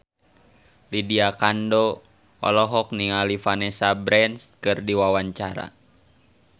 Lydia Kandou olohok ningali Vanessa Branch keur diwawancara